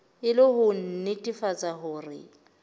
e le ho nnetefatsa hore